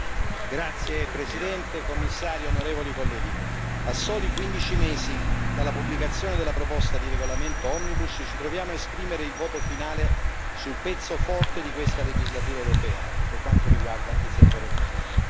Signor Presidente, signor Commissario, onorevoli colleghi, a soli 15 mesi dalla pubblicazione della proposta di regolamento omnibus, ci troviamo a esprimere il voto finale sul pezzo forte di questa legislatura europea per quanto riguarda il settore agricolo.